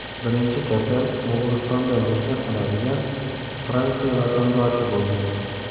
Birinchi kasal Mo‘g‘ulistonda mehnat qiladigan Fransiya vatandoshi bo‘lgan.